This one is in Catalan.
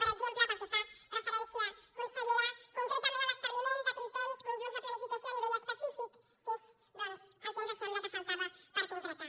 per exemple pel que fa referència consellera concretament a l’establiment de criteris conjunts de planificació a nivell específic que és doncs el que ens sembla que faltava per concretar